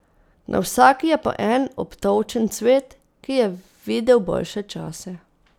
Na vsaki je po en obtolčen cvet, ki je videl boljše čase.